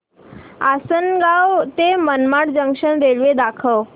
आसंनगाव ते Manmad junction railway दाखव